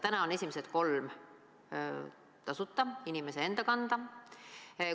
Täna on esimesed kolm päeva tasuta, inimese enda kanda.